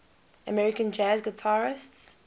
american jazz guitarists